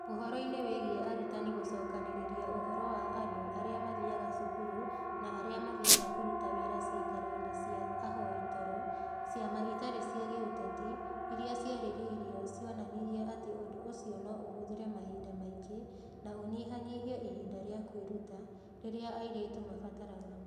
Ũhoro-inĩ wĩgiĩ arutani gũcokanĩrĩria ũhoro wa andũ arĩa mathiaga cukuru na arĩa mathiaga kũruta wĩra ciikaro-inĩ cia ahoi toro, ciama itarĩ cia gĩũteti iria ciaririo cionanirie atĩ ũndũ ũcio no ũhũthĩre mahinda maingĩ na ũnyihanyihie ihinda rĩa kwĩruta, rĩrĩa airĩtu mabataraga.